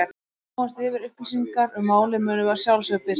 Ef við komumst yfir upplýsingar um málið munum við að sjálfsögðu birta þær.